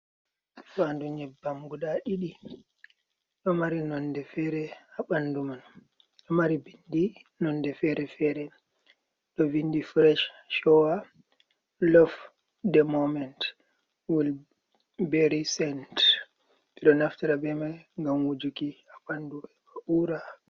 Fandu nyebbam guda ɗiɗi. Ɗo mari nonde fere haa ɓandu man. Ɗo mari bindi nonde fere-fere, ɗo vindi fresh showa lof de moment wol beri sent. Ɓe ɗo naftira be mai ngam wujuki haa bandu ba, ɗo uura.